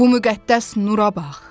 Bu müqəddəs nura bax.